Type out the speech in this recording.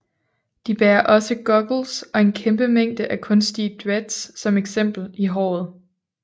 De bærer også Goggels og en kæmpe mængde af kunstige dreads som eksempel i håret